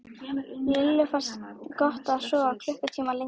Lillu fannst gott að geta sofið klukkutíma lengur.